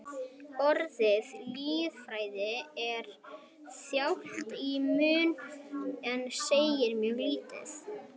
Orðið lýðfræði er þjált í munni en segir mjög lítið.